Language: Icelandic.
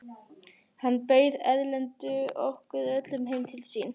Þá bauð Erlendur okkur öllum heim til sín.